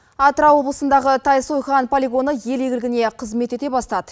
атырау облысындағы тайсойған полигоны ел игілігіне қызмет ете бастады